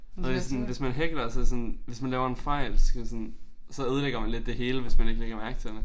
Og mere hvis man hækler så sådan hvis man laver en fejl så skal man sådan så ødelægger man lidt det hele hvis man ikke lægger mærke til det